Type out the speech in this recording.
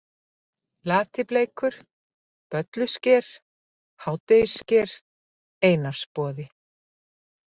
Latibleikur, Böllusker, Hádegissker, Einarsboði